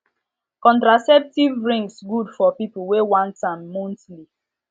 contraceptives rings good for people wey want am monthly